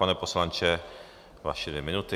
Pane poslanče, vaše dvě minuty.